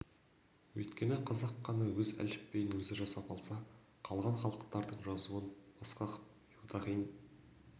өйткені қазақ қана өз әліпбиін өзі жасап алса қалған халықтардың жазуын басқаков юдахин